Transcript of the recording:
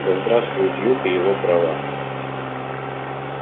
да здравствует юг и его права